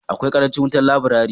Akwai karancin wutan laburari.